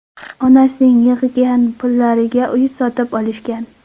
Onasining yig‘gan pullariga uy sotib olishgan.